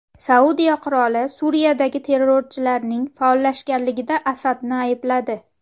Saudiya qiroli Suriyadagi terrorchilarning faollashganligida Asadni aybladi.